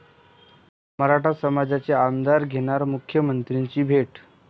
मराठा समाजाचे आमदार घेणार मुख्यमंत्र्यांची भेट